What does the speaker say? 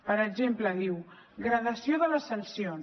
per exemple diu gradació de les sancions